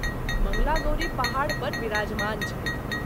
मंगलागौरी पहाड़ पर विराजमान छथि।